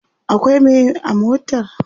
akwai Mai a motar?